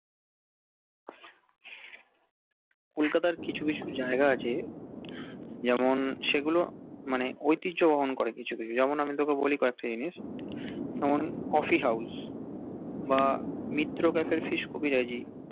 kolkata র কিছু কিছু জাইগা আছে যেমন সেইগুল মনে ঐতিঝ্য বহন করে কিছু কিছু জিনিস আমি তকে বলি কএকটা জিনিস জেনম Coffee House বা মিত্র কাফের ফিস কবিরাজি